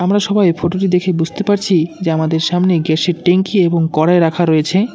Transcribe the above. আমরা সবাই ফটোটি দেখে বুঝতে পারছি যে আমাদের সামনে গ্যাসের -কি এবং কড়াই রাখা রয়েছে।